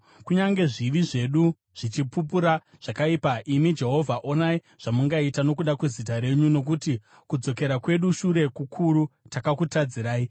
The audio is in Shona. Kunyange zvivi zvedu zvichipupura zvakaipa, imi Jehovha, onai zvamungaita nokuda kwezita renyu. Nokuti kudzokera kwedu shure kukuru; takakutadzirai.